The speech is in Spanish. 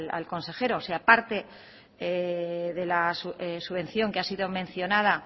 al consejero si aparte de la subvención que ha sido mencionada